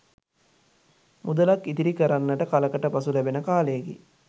මුදලක්‌ ඉතිරි කරන්නට කලකට පසු ලැබෙන කාලයකි.